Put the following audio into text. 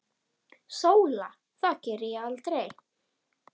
SÓLA: Það geri ég aldrei!